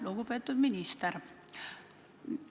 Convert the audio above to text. Lugupeetud minister!